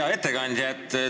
Hea ettekandja!